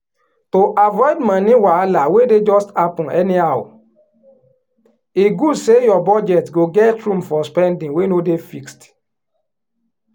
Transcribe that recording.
she she sofry share her back up moni to cover spending wey she no expect so she no go borrow